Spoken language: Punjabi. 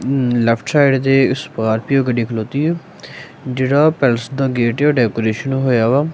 ਲੈਫਟ ਸਾਈਡ ਤੇ ਸਕਾਰਪੀਓ ਗੱਡੀ ਖਲੋਤੀ ਹੈ ਜਿਹੜਾ ਪੈਲਸ ਦਾ ਗੇਟ ਡੈਕੋਰੇਸ਼ਨ ਹੋਇਆ ਵਾ।